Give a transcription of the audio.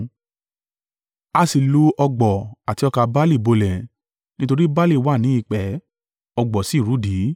(A sì lu ọ̀gbọ̀ àti ọkà barle bolẹ̀; nítorí barle wà ní ìpẹ́, ọ̀gbọ̀ sì rudi.